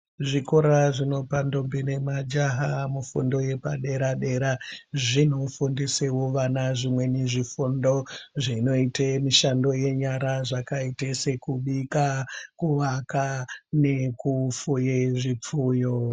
Zvikora zvinobva ndombi nemajaha mufundo yepadera dera zvinofundisao vana zvimweni zvifundo zvinoite mishando yenyara zvakaite sekubika kuvaka nekufuye zvifuyo.